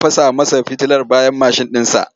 Mai adaidaita sahu ya fasa masa fitilar bayan mashin ɗinsa.